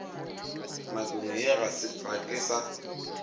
nakong ye ga ke sa